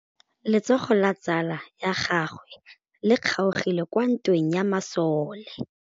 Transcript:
Letsôgô la tsala ya gagwe le kgaogile kwa ntweng ya masole.